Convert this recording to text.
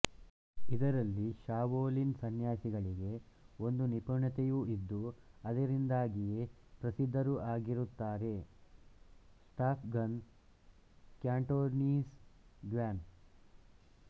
ಇದರಲ್ಲಿ ಶಾಓಲಿನ್ ಸನ್ಯಾಸಿಗಳಿಗೆ ಒಂದು ನಿಪುಣತೆಯು ಇದ್ದು ಅದರಿಂದಾಗಿಯೇ ಪ್ರಸಿದ್ಧರೂ ಆಗಿರುತ್ತಾರೆ ಸ್ಟಾಫ್ ಗನ್ ಕ್ಯಾಂಟೋನೀಸ್ ಗ್ವಾನ್